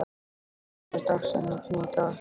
Úna, hver er dagsetningin í dag?